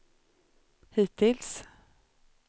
hittills